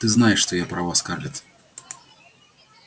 ты знаешь что я права скарлетт